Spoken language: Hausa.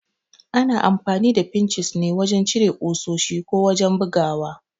Ana amfani da Finchis ne wajan cire ƙusoshi ko wajan bugawa